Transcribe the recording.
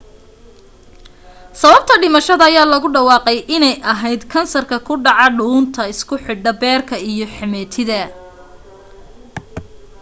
sababta dhimashada ayaa lagu dhawaaqay inay ahayd in ahayd kansarka ku dhaca dhuunta isku xidha beerka iyo xameetida